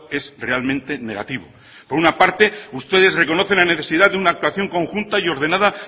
es realmente negativo por una parte ustedes reconocen la necesidad de una actuación conjunta y ordenada